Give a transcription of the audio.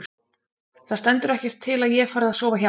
ÞAÐ STENDUR EKKERT TIL AÐ ÉG FARI AÐ SOFA HJÁ.